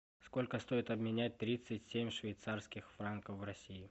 сколько стоит обменять тридцать семь швейцарских франков в россии